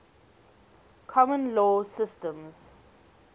common law systems